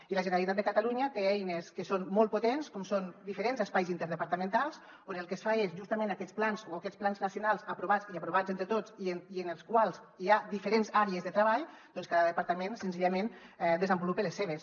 i la generalitat de catalunya té eines que són molt potents com són diferents espais interdepartamentals on el que es fa és justament en aquests plans o aquests plans nacionals aprovats i aprovats entre tots i en els quals hi ha diferents àrees de treball doncs cada departament senzillament desenvolupa les seves